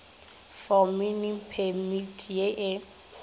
for mining permit ye e